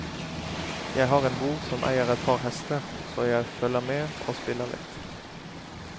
Jeg har en bror som eier et par hester, så jeg følger med og spiller litt.